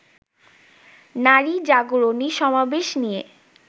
নারী জাগরণী সমাবেশ নিয়ে